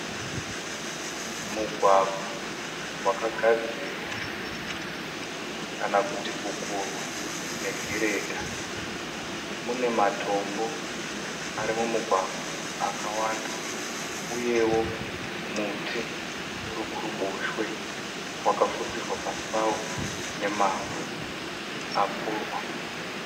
Mugwagwa wakagadzirwa kana kuti kukurwa negiredha. Mune matombo ari mumugwagwa akawanda uyewo muti uri kuruboshwe wakafusirwa pasi pavo nemavhu akurwa.